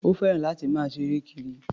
Ó fẹ́ràn láti máa sáre kiri.